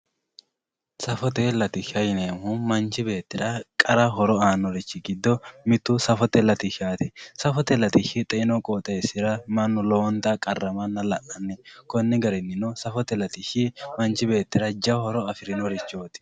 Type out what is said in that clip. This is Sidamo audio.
safote latishsha yineemohu manchi beettira qara horo aanorichi gido mittu safote latishshaati safote latishshi xeenu qooxeesira mannu lowonta qarramanna la'nanni konni garinino safote latishshi manchi beettira jawa horo afirinorichooti.